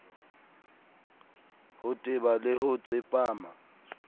ho teba le ho tsepama